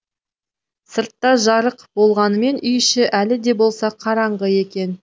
сыртта жарық болғанымен үй іші әлі де болса қараңғы екен